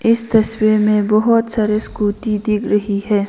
इस तस्वीर में बहोत सारे स्कूटी दिक रही है।